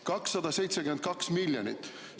272 miljonit!